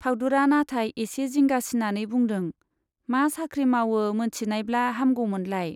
फाउदुरा नाथाय एसे जिंगासिनानै बुंदों , मा साख्रि मावो मोनथिनायब्ला हामगौमोनलाय।